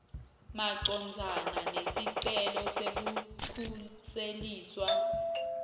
macondzana nesicelo sekukhuseliswa